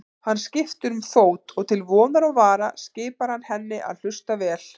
Hann skiptir um fót og til vonar og vara skipar hann henni að hlusta vel.